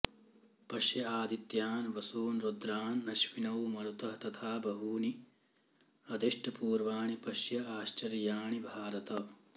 पश्य आदित्यान् वसून् रुद्रान् अश्विनौ मरुतः तथा बहूनि अदृष्टपूर्वाणि पश्य आश्चर्याणि भारत